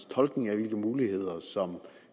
tolkning af hvilke muligheder